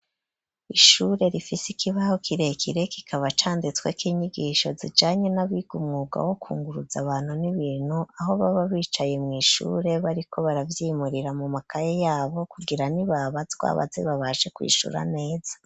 Ishure rifise ikibaho kirekire kikaba canditsweko inyigisho zijanye naba umwuga wo kunguruza abantu n'ibintu aho baba bicaye mw'ishure bariko baravyimurira mu makaye yabo kugira nibabazwa baze babashe kwishura neza.